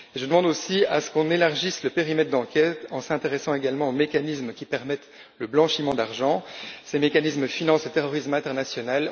Je demande aussi à ce qu'on élargisse le périmètre d'enquête, en s'intéressant également aux mécanismes qui permettent le blanchiment d'argent. Ces mécanismes financent le terrorisme international